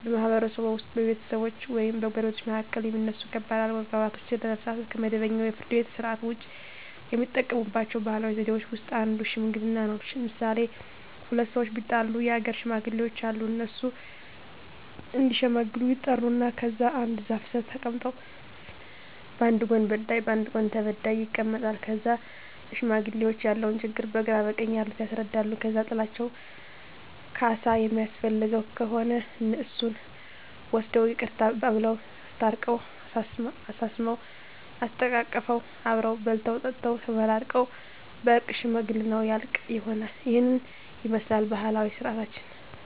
በማህበረሰብዎ ውስጥ በቤተሰቦች ወይም በጎረቤቶች መካከል የሚነሱ ከባድ አለመግባባቶችን ለመፍታት (ከመደበኛው የፍርድ ቤት ሥርዓት ውጪ) የሚጠቀሙባቸው ባህላዊ ዘዴዎች ውስጥ አንዱ ሽምግልና ነው። ለምሣሌ፦ ሁለት ሠዎች ቢጣሉ የአገር ሽማግሌዎች አሉ። እነሱ እዲሸመግሉ ይጠሩና ከዛ አንድ ዛፍ ስር ተቀምጠው በአንድ ጎን በዳይ በአንድ ጎን ተበዳይ ይቀመጣሉ። ከዛ ለሽማግሌዎች ያለውን ችግር በግራ በቀኝ ያሉት ያስረዳሉ። ከዛ ጥላቸው ካሣ የሚያስፈልገው ከሆነ እሱን ወስነው ይቅርታ አባብለው። አስታርቀው፤ አሳስመው፤ አሰተቃቅፈው አብረው በልተው ጠጥተው ተመራርቀው በእርቅ ሽምግልናው ያልቃ። ይህንን ይመስላል ባህላዊ ስርዓታችን።